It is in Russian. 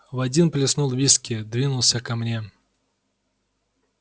в один плеснул виски двинулся ко мне